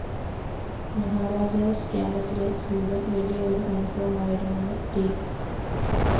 മഹാരാജാസ്‌ ക്യാംപസിലെ ജീവിതം വലിയ ഒരു അനുഭവമായിരുന്നെന്ന്‌ ട്‌